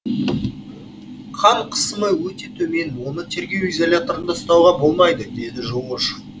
қан қысымы өте төмен оны тергеу изоляторында ұстауға болмайды дейді жоошев